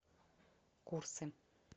курсы